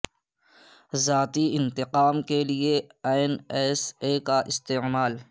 ذاتی انتقام کے لیے این ایس اے کا استعمال